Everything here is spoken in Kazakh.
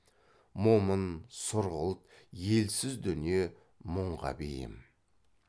момын сұрғылт елсіз дүние мұңға бейім